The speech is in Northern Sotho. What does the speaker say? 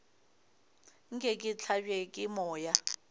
nke ke hlabje ke moya